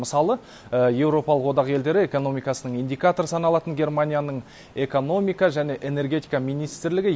мысалы еуропалық одақ елдері экономикасының индикаторы саналатын германияның экономика және энергетика министрлігі